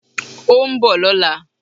Ó ń bọ̀ lọ́la